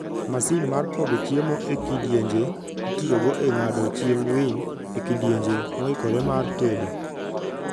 Masin mar pogo chiemo e kidienje: Itiyogo e ng'ado chiemb winy e kidienje moikore mar tedo.